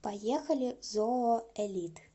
поехали зооэлит